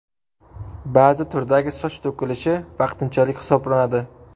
Ba’zi turdagi soch to‘kilishi vaqtinchalik hisoblanadi.